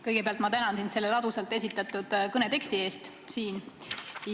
Kõigepealt ma tänan sind selle ladusalt esitatud kõne eest!